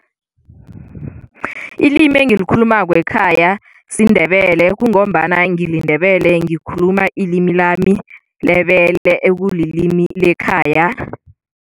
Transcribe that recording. Ilimi engilikhulumako ekhaya siNdebele kungombana ngiliNdebele, ngikhuluma ilimi lami lebele ekulilimi lekhaya.